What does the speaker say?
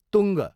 तुङ्ग